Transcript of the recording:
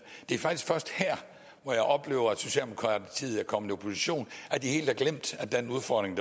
det er faktisk først her hvor jeg oplever at socialdemokratiet at kommet i opposition helt har glemt den udfordring